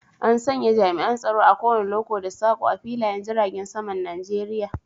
An sanya jami'an tsaro a kowanne loko da sako a filayen jiragen saman Najeriya.